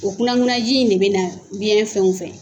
O kunankunanji in de bɛ na biyɛn fɛnw fɛ